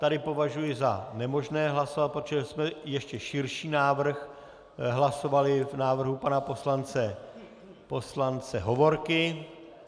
Tady považuji za nemožné hlasovat, protože jsme ještě širší návrh hlasovali v návrhu pana poslance Hovorky.